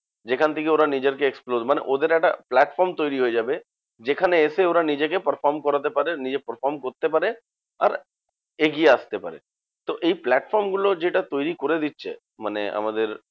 যেখান থেকে ওরা নিজেদেরকে explore মানে ওদের একটা platform তৈরী হয়ে যাবে। যেখানে এসে ওরা নিজেকে perform করাতে পারে, নিজে perform করতে পারে, আর এগিয়ে আসতে পারে। তো এই platform গুলো যেটা তৈরী করে দিচ্ছে মানে আমাদের